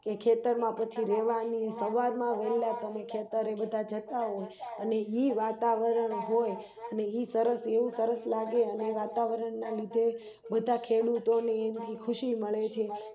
ખેતરમાં પછી રેવાની સવાર માં વેળા તમે ખેતર માં જતા હોય અને ઈવાતાવરણ હોય ઈ સરસ એવું સરસ લાગે અને વાતાવરણ ના લીધે બધા ખેડૂતો ની ઈમાં ખુશી મળે છે